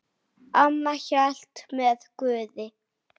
Amma hélt með Guði.